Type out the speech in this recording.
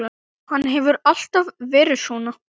Hann hefur alltaf verið svona.